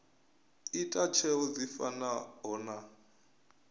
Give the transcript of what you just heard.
ita tsheo dzi fanaho na